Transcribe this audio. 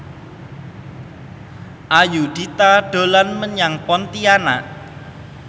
Ayudhita dolan menyang Pontianak